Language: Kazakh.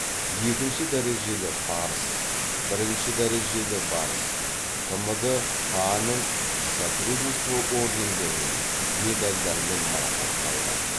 екінші дәрежелі барыс бірінші дәрежелі барыс тмд паа ның содружество ордендерімен медальдармен марапатталған